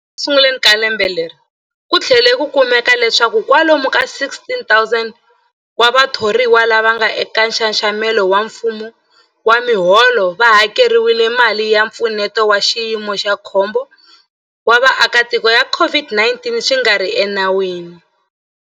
Ekusunguleni ka lembe leri, ku tlhele ku kumeka leswaku kwalomu ka 16,000 wa vathoriwa lava nga eka nxaxamelo wa mfumo wa miholo va hakeriwile mali ya Mpfuneto wa Xiyimo xa Khombo wa Vaaki ya COVID-19 swi nga ri enawini.